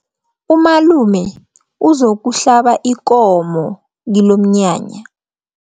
Umalume uzokuhlaba ikomo kilomnyanya.